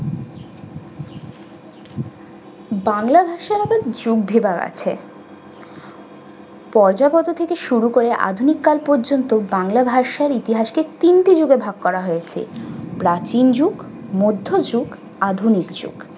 বাংলা ভাষার একটি আছে। পর্যবত থেকে শুরু করে আধুনিক কাল পর্যন্ত বাংলা ভাষার ইতিহাসকে তিনটি ভাগে ভাগ করা হয়েছে। প্রাচীন যুগ, মধ্যযুগ, আধুনিক যুগ।